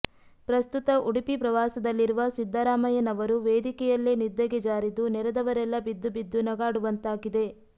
ಪ್ರಸ್ತುತ ಉಡುಪಿ ಪ್ರವಾಸದಲ್ಲಿರುವ ಸಿದ್ದರಾಮಯ್ಯನವರು ವೇದಿಕೆಯಲ್ಲೇ ನಿದ್ದಗೆ ಜಾರಿದ್ದು ನೆರೆದವರೆಲ್ಲಾ ಬಿದ್ದು ಬಿದ್ದು ನಗಾಡುವಂತಾಗಿದೆ